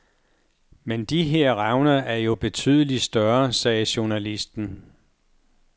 Men de her revner er jo betydeligt større, sagde journalisten.